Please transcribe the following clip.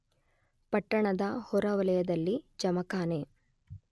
ಪಟ್ಟಣದ ಹೊರವಲಯದಲ್ಲಿ ಜಮಖಾನೆ